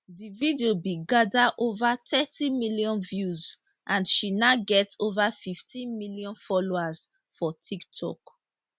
di video bin gada ova thirty million views and she now get ova 15 million followers for tiktok